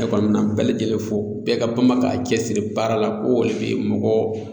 Ne kɔni bɛnɛ bɛɛ lajɛlen fo, bɛɛ ka bama ka cɛsiri baara la ko ole bi mɔgɔ